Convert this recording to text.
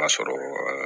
B'a sɔrɔ